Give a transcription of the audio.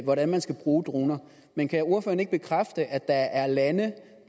hvordan man skal bruge droner men kan ordføreren ikke bekræfte at der er lande